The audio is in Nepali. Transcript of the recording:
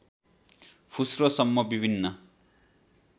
फुस्रो सम्म विभिन्न